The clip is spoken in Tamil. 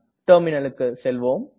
Terminalக்கு செல்வோம்